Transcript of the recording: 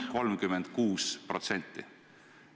... 36%.